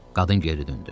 Qadın geri döndü.